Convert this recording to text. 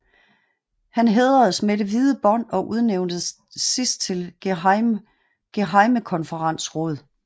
Han hædredes med det hvide bånd og udnævntes sidst til gehejmekonferensråd